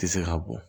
Tɛ se ka bɔ